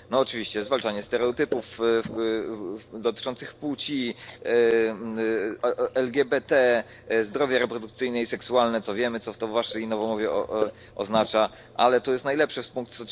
No oczywiście zwalczanie stereotypów dotyczących płci, LGBT, zdrowie reprodukcyjne i seksualne, co wiemy, co to w waszej nowomowie oznacza, ale to jest najlepsze, pkt.